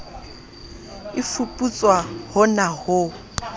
e fuputswa ho na ho